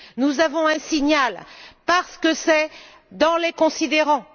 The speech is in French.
Nous avons un signal parce que c'est dans les considérants.